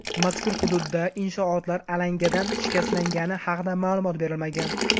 Mazkur hududda inshootlar alangadan shikastlangani haqida ma’lumot berilmagan.